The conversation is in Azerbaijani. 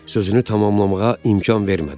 Sözünü tamamlamağa imkan vermədi.